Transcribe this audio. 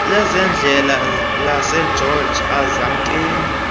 lezendlela lasegeorge alizamkeli